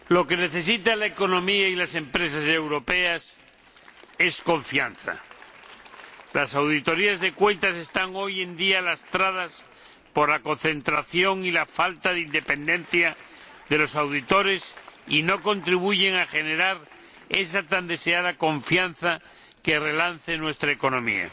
Señora Presidenta, lo que necesitan la economía y las empresas europeas es confianza. Las auditorías de cuentas están hoy en día lastradas por la concentración y la falta de independencia de los auditores y no contribuyen a generar esa tan deseada confianza que relance nuestra economía.